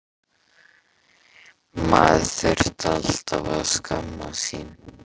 Maður þurfti alltaf að skammast sín.